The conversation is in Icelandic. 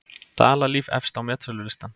Dalalíf efst á metsölulistann